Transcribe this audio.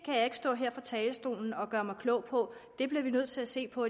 kan jeg ikke stå her fra talerstolen og gøre mig klog på det bliver vi nødt til at se på